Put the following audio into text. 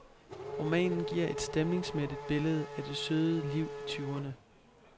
Romanen giver et stemningsmættet billede af det søde liv i tyverne.